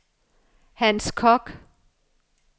Hans Kock